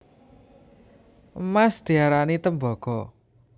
Emas diarani tembaga